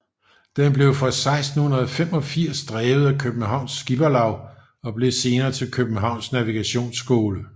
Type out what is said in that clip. Den blev fra 1685 drevet af Københavns Skipperlav og blev senere til Københavns Navigationsskole